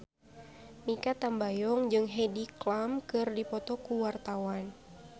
Mikha Tambayong jeung Heidi Klum keur dipoto ku wartawan